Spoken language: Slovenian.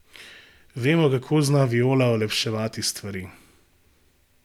Vemo, kako zna Viola olepševati stvari.